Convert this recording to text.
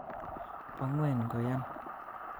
Bo'ngweny koyan